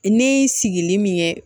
Ni sigili min ye